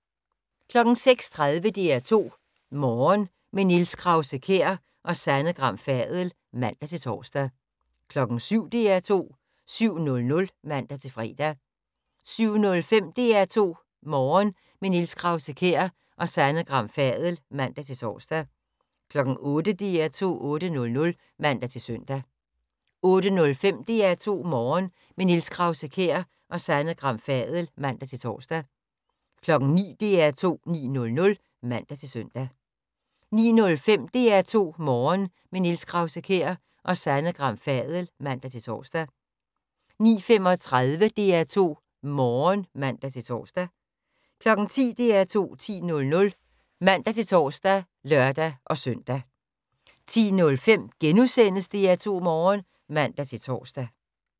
06:30: DR2 Morgen - med Niels Krause-Kjær og Sanne Gram Fadel (man-tor) 07:00: DR2 7:00 (man-fre) 07:05: DR2 Morgen - med Niels Krause-Kjær og Sanne Gram Fadel (man-tor) 08:00: DR2 8:00 (man-søn) 08:05: DR2 Morgen - med Niels Krause-Kjær og Sanne Gram Fadel (man-tor) 09:00: DR2 9:00 (man-søn) 09:05: DR2 Morgen - med Niels Krause-Kjær og Sanne Gram Fadel (man-tor) 09:35: DR2 Morgen *(man-tor) 10:00: DR2 10:00 (man-tor og lør-søn) 10:05: DR2 Morgen *(man-tor)